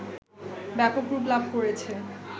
ব্যাপক রূপ লাভ করেছে